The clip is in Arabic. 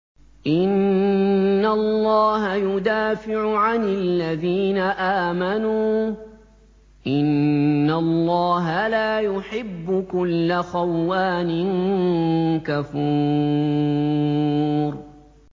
۞ إِنَّ اللَّهَ يُدَافِعُ عَنِ الَّذِينَ آمَنُوا ۗ إِنَّ اللَّهَ لَا يُحِبُّ كُلَّ خَوَّانٍ كَفُورٍ